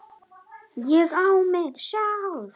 ÉG Á MIG SJÁLF!